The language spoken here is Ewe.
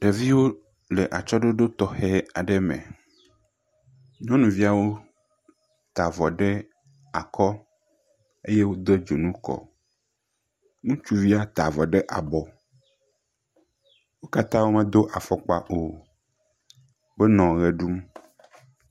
Ɖeviwo le atsyɔɖoɖo tɔxɛ aɖe me, nyɔnuviawo ta avɔ ɖe akɔ eye wode dzonu kɔ, nutsuvia ta avɔ ɖe abɔ, wo katã womedo afɔkpa o, wonɔ ʋe ɖum.